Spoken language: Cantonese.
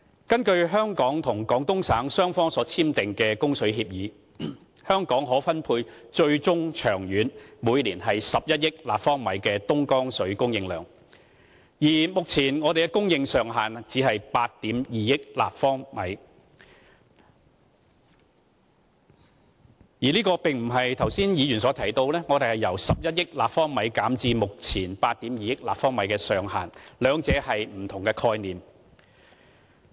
根據香港及廣東省雙方所簽訂的供水協議，香港最終可獲分配每年11億立方米的東江水，而目前給我們的供應上限只是8億 2,000 萬立方米。這並不是剛才議員所提到我們獲供應的上限，由11億立方米減至目前8億 2,000 萬立方米，兩者是不同的概念。